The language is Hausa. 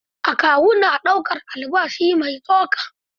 Akawu na ɗaukar albashi mai tsoka.